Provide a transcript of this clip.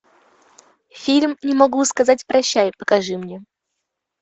фильм не могу сказать прощай покажи мне